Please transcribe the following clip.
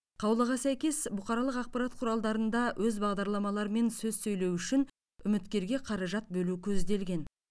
қаулыға сәйкес бұқаралық ақпарат құралдарында өз бағдарламаларымен сөз сөйлеу үшін үміткерге қаражат бөлу көзделген